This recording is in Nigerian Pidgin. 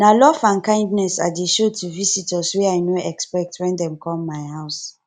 na love and kindness i dey show to visitors wey i no expect wen dem come my house